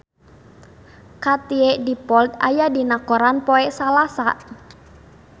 Katie Dippold aya dina koran poe Salasa